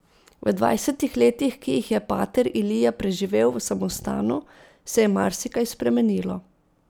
V dvajsetih letih, ki jih je pater Elija preživel v samostanu, se je marsikaj spremenilo.